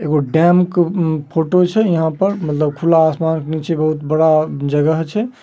एगो डैम क फोटो छै। यहां पर मतलब खुला आसमान के नीचे बहुत बड़ा जगह छै ।